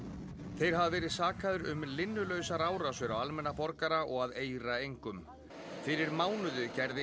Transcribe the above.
þeir hafa verið sakaðir um linnulausar árásir á almenna borgara og að eira engum fyrir mánuði gerði